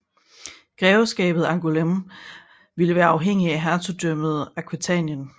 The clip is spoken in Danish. Grevskabet Angoulême skulle være uafhængigt af hertugdømmet Aquitanien